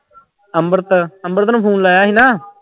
ਅੰਮ੍ਰਿਤ ਅੰਮ੍ਰਿਤ ਨੂੰ phone ਲਾਇਆ ਸੀ ਨਾ।